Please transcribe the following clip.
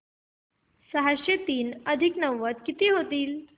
सहाशे तीन अधिक नव्वद किती होतील